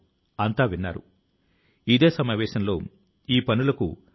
తన జీవిత కాల సంపాదన ను అందులో పెట్టారు